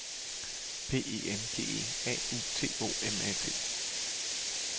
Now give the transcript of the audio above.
P E N G E A U T O M A T